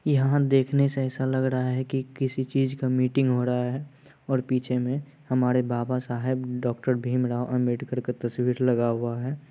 यहाँ देखने से ऐसा लग रहा है की किसी चीज़ का मीटिंग हो रहा है और पीछे में हमारे बाबा साहेब डॉक्टर भीमराव अंबेडकर का तस्वीर लगा हुआ है।